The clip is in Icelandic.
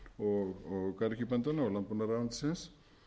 rarik og garðyrkjubændanna og landbúnaðarráðuneytisins